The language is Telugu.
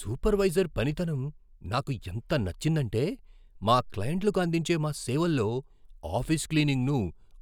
సూపర్వైజర్ పనితనం నాకు ఎంత నచ్చిందంటే, మా క్లెయింట్లకు అందించే మా సేవల్లో ఆఫీస్ క్లీనింగ్ను